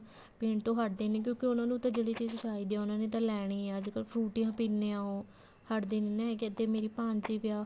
ਪੀਣ ਤੋਂ ਹਟਦੇ ਨੀ ਕਿਉਂਕਿ ਉਹਨਾ ਨੂੰ ਤਾਂ ਜਿਹੜੀ ਚੀਜ਼ ਚਾਹੀਦੀ ਆ ਉਹਨਾ ਨੇ ਤਾਂ ਲੈਣੀ ਆ ਅੱਜਕਲ ਫਰੂਟੀਆਂ ਪੀਨੇ ਆ ਉਹ ਹਟਦੇ ਨੀ ਹੈਗੇ ਇੱਧਰ ਮੇਰੀ ਭਾਣਜੀ ਵੀ ਆ